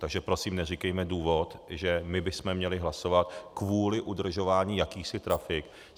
Takže prosím, neříkejme důvod, že my bychom měli hlasovat kvůli udržování jakýchsi trafik.